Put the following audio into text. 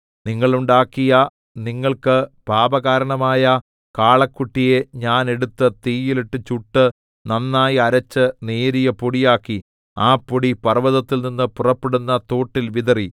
നിങ്ങൾ ഉണ്ടാക്കിയ നിങ്ങൾക്ക് പാപകാരണമായ കാളക്കുട്ടിയെ ഞാൻ എടുത്ത് തീയിൽ ഇട്ട് ചുട്ട് നന്നായി അരച്ച് നേരിയ പൊടിയാക്കി ആ പൊടി പർവ്വതത്തിൽനിന്ന് പുറപ്പെടുന്ന തോട്ടിൽ വിതറി